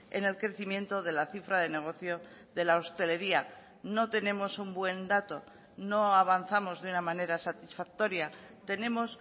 en el crecimiento de la cifra de negocio de la hostelería no tenemos un buen dato no avanzamos de una manera satisfactoria tenemos